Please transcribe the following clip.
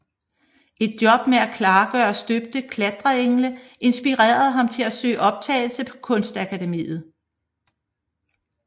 Et job med at klargøre støbte klatreengle inspirerede ham til at søge optagelse på Kunstakademiet